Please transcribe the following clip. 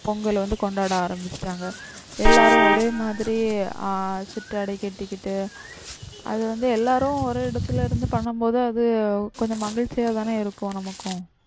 பொங்கல் வந்து கொண்டாட ஆரம்பிச்சிட்டாங்க. எல்லாரும் ஒரே மாதிரி ஆஹ் சிட்டாடை கட்டிக்கிட்டி அது வந்து எல்லாரும் ஒரு இடத்துல இருந்து பண்ணும்போது அது கொஞ்சம் மகிழ்ச்சியாதான இருக்கும் நமக்கும்.